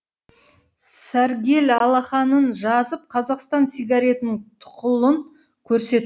сәргел алақанын жазып қазақстан сигаретінің тұқылын